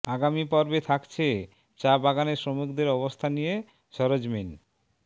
আগামী পর্বে থাকছে চা বাগানে শ্রমিকদের অবস্থা নিয়ে সরেজমিন